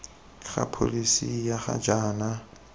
ga pholesi ya ga jaana